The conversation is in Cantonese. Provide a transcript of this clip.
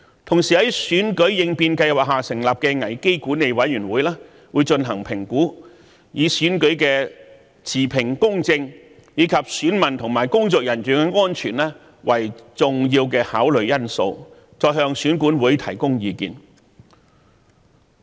同時，在選舉應變計劃下成立的危機管理委員會會進行評估，以選舉的持平公正及選民和工作人員的安全為重要考慮因素，再向選管會提供意見。